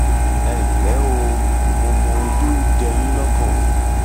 ẹ ǹlẹ o mo mọ ohun tó ń jẹ yín lọkàn